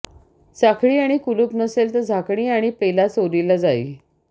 साखळी आणि कुलूप नसेल तर झाकणी आणि पेला चोरीला जाई